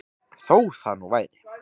Þó það nú væri.